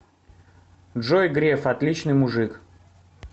джой греф отличный мужик